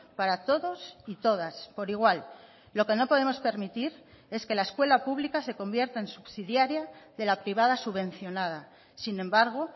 para todos y todas por igual lo que no podemos permitir es que la escuela pública se convierta en subsidiaria de la privada subvencionada sin embargo